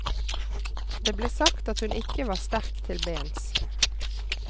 Det ble sagt at hun ikke var sterk til bens.